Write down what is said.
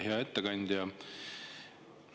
Hea ettekandja!